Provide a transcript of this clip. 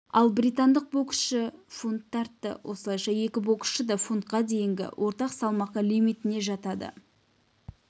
ал британдық боксшы фунт тартты осылайша екі боксшы да фунтқа дейінгі орта салмақ лимитіне жатады